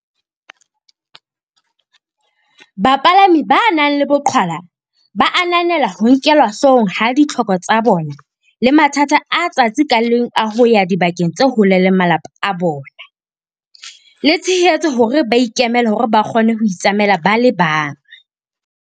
Bapalami ba nang le boqhwa la ba ananela ho nkelwa hloohong ha ditlhoko tsa bona le mathata a letsatsi ka leng a ho ya dibakeng tse hole le malapa a bona, le tshehetso hore ba ikemele hore ba kgone ho itsamaela ba le bang.